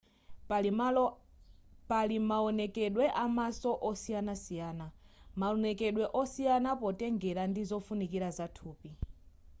pali mawonekedwe amaso osiyanasiyana maonekedwe osiyana potengera ndi zofunikira za thupi